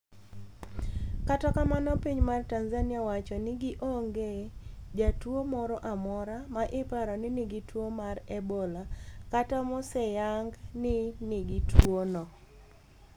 Kata kamano piny mar Tanzania owacho ni gi onge jatuwo moro amora ma. iparo ni nigi tuwo mar Ebola kata moseyang ni nigi tuwo no.